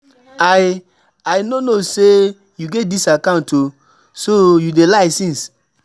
I I no know say you get dis account oo, so you dey lie since